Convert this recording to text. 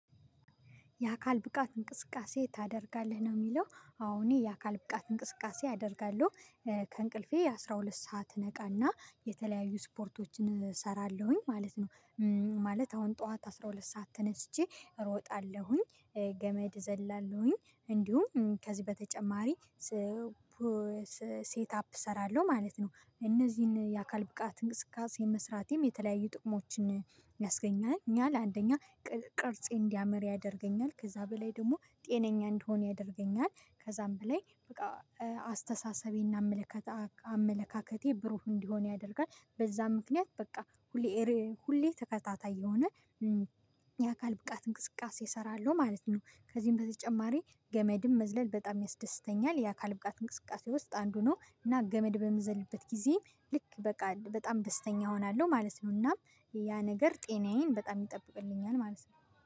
የአካል ብቃት እንቅስቃሴ ታደርጋለህ ነው የሚለው አሁን የአካል ብቃት እንቅስቃሴ ያደርጋሉ። ከእንቅልፌ አስራ ሁለት ሰዓት እነቃና የተለያዩ ስፖርቶችን እሰራለሁኝ ማለት ነው። ማለት አሁን ጠዋት አስራ ሁለት ሰዓት ተነስቼ እሮጣለሁኝ። ገመድ እዘላለሁኝ እንዲሁም ከዚህ በተጨማሪ ሴት አፕ እሰራለሁ ማለት ነው። እነዚህን የአካል ብቃት እንቅስቃሴ መስራቴም የተለያዩ ጥቅሞችን ያስገኛል። እኛ ለአንደኛ ቅርጼ እንዲያመር ያደርገኛል ከዛ በላይ ደግሞ ጤነኛ እንድሆን ያደርገኛል። ከዛም በላይ በቃ አስተሳሰቤና አመለካከት አመለካከቴ ብሩህ እንዲሆን ያደርጋል። በዛ ምክንያት በቃ ሁሌ ተከታታይ የሆነ የአካል ብቃት እንቅስቃሴ እሰራለሁ ማለት ነው። ከዚህም በተጨማሪ ገመድም መዝለል በጣም ያስደስተኛል። የአካል ብቃት እንቅስቃሴ ውስጥ አንዱ ነው። እና ገመድ በምዘልበት ጊዜ ልክ በቃ በጣም ደስተኛ እሆናለሁ ማለት ነው። እናም ያ ነገር ጤናዬን በጣም ይጠብቅልኛል ማለት ነው